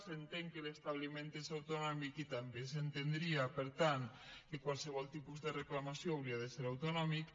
s’entén que l’establiment és autonòmic i també s’entendria per tant que qualsevol tipus de reclamació hauria de ser autonòmic